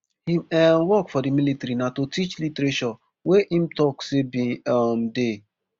im um work for di military na to teach literature wey im tok say bin um dey